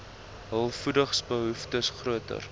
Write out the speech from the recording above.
hul voedingsbehoeftes groter